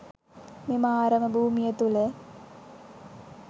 මෙම ආරම භූමිය තුළ